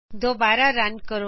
ਦੋਬਾਰਾ ਰਨ ਕਰੋ